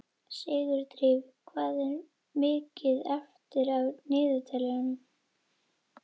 Sigurdríf, hvað er mikið eftir af niðurteljaranum?